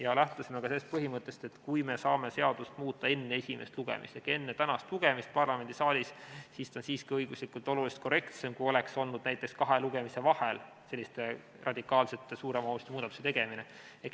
Me lähtusime ka sellest põhimõttest, et kui me saame seadust muuta enne esimest lugemist ehk enne tänast lugemist parlamendisaalis, siis on see siiski õiguslikult oluliselt korrektsem, kui oleks olnud näiteks kahe lugemise vahel selliste radikaalsete, suure mahuga muudatuste tegemine.